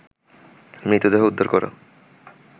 মৃতদেহ উদ্ধার করা